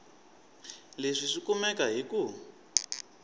leswi swi kumeka hi ku